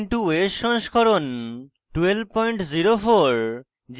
ubuntu os সংস্করণ 1204